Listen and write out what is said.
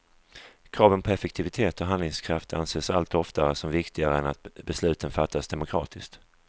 Kraven på effektivitet och handlingskraft anses allt oftare som viktigare än att besluten fattas demokratiskt.